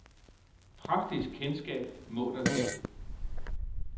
Praktisk kendskab må der til.